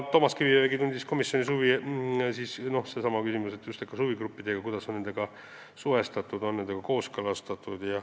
Toomas Kivimägi tundis komisjonis huvi just huvigruppide vastu, kuidas nendega on suhestutud, kas nendega on kooskõlastatud.